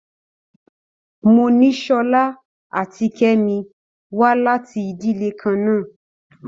Monísọ́lá àti Kemi wá láti ìdílè kan náà.